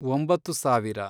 ಒಂಬತ್ತು ಸಾವಿರ